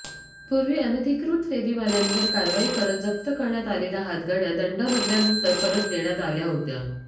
पूर्वी अनधिकृत फेरीवाल्यांवर कारवाई करत जप्त करण्यात आलेल्या हातगाड्या दंड भरल्यानंतर परत देण्यात आल्या होत्या